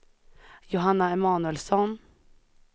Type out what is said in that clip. Johanna Emanuelsson